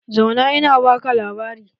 Zauna in baka labari!